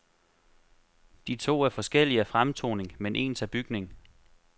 De to er forskellige af fremtoning, men ens af bygning.